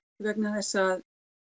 vegna þess að